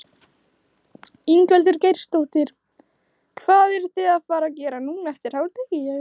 Ingveldur Geirsdóttir: Hvað eruð þið að fara gera núna eftir hádegi?